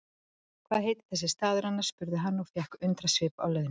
Hvað heitir þessi staður annars? spurði hann og fékk undrunarsvip að launum.